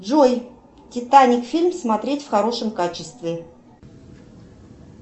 джой титаник фильм смотреть в хорошем качестве